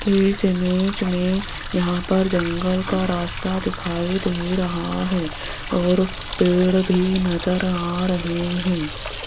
इस इमेज में यहां पर जंगल का रास्ता दिखाई दे रहा है और पेड़ भी नजर आ रहे हैं।